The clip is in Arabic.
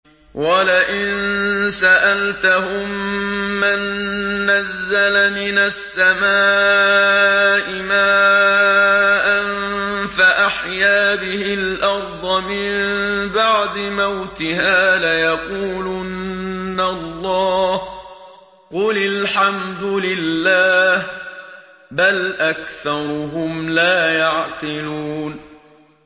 وَلَئِن سَأَلْتَهُم مَّن نَّزَّلَ مِنَ السَّمَاءِ مَاءً فَأَحْيَا بِهِ الْأَرْضَ مِن بَعْدِ مَوْتِهَا لَيَقُولُنَّ اللَّهُ ۚ قُلِ الْحَمْدُ لِلَّهِ ۚ بَلْ أَكْثَرُهُمْ لَا يَعْقِلُونَ